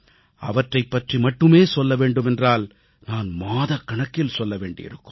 அவற்றைப் பற்றி மட்டுமே சொல்ல வேண்டுமென்றால் நான் மாதக்கணக்கில் சொல்ல வேண்டியிருக்கும்